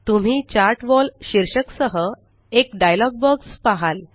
तुम्ही chart wall शीर्षक सह एक डायलॉग बॉक्स पहाल